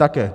Také.